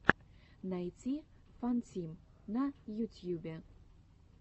найти фантим на ютьюбе